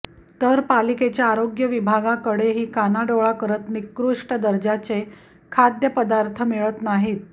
तर पालिकेच्या आरोग्य विभागाकडेही कानाडोळा करत निकृष्ट दर्जाचे खाद्यपदार्थ मिळत नाहीत